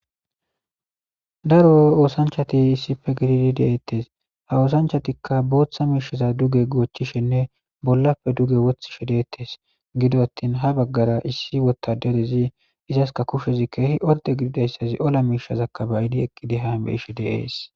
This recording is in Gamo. daro oosanchati issife gididi deeettes ha oosanchatikka booththa miishiza duge goochchishenne bollappe duge wothishe deettes gido attin ha baggara issi wotaderezi izaska kushezi keehi odde gididayssazi ola miishazakkabayidi ekqidi haan be ishe deees